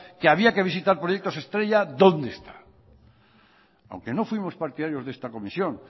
que había que visitar proyectos estrellas dónde está aunque no fuimos partidarios de esta comisión